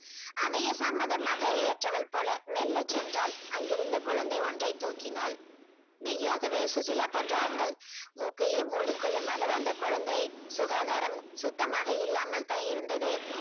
அதையே சம்மதமாக ஏற்றவள் போல மெல்லச்சென்றாள். அங்கிருந்த குழந்தை ஒன்றை தூக்கினாள். மெய்யாகவே சுசிலா போன்ற ஆட்கள் மூக்கையே மூடிக்கொள்ளும் அளவு அந்த குழந்தை சுகாதாரம் சுத்தமாக இல்லாமல் தான் இருந்தது.